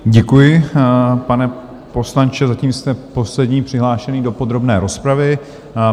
Děkuji, pane poslanče, zatím jste poslední přihlášený do podrobné rozpravy.